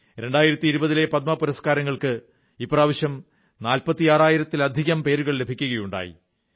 2020 ലെ പദ്മ പുരസ്കാരങ്ങൾക്ക് ഇപ്രാവശ്യം 46000 ത്തിലധികം പേരുകൾ ലഭിക്കയുണ്ടായി